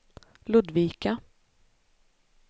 Ludvika